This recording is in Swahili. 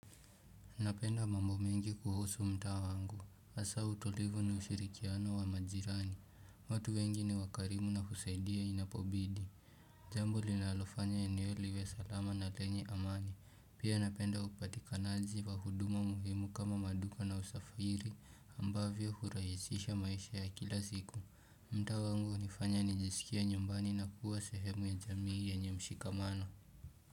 Napenda mambo mengi kuhusu mtaa wangu. Hasa utulivu ni ushirikiano wa majirani. Watu wengi ni wakarimu na husaidia inapobidi. Jambo linalofanya eneo liwe salama na lenye amani. Pia napenda upatikanaji wa huduma muhimu kama maduka na usafiri ambavyo hurahisisha maisha ya kila siku. Mtaa wangu unifanya nijisikie nyumbani na kuwa sehemu ya jamii yenye mshikamano.